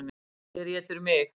Hver étur mig?